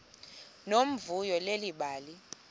nomvuyo leli bali